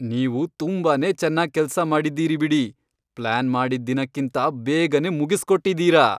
ನೀವು ತುಂಬಾನೇ ಚೆನ್ನಾಗ್ ಕೆಲ್ಸ ಮಾಡಿದೀರಿ ಬಿಡಿ.. ಪ್ಲಾನ್ ಮಾಡಿದ್ ದಿನಕ್ಕಿಂತ ಬೇಗನೇ ಮುಗಿಸ್ಕೊಟ್ಟಿದೀರ!